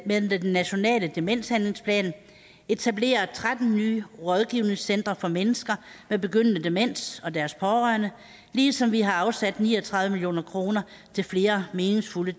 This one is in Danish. med den nationale demenshandlingsplan etablerer tretten nye rådgivningscentre for mennesker med begyndende demens og deres pårørende ligesom vi har afsat ni og tredive million kroner til flere meningsfulde